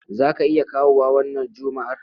Za ka iya kawowa wannan Juma'ar?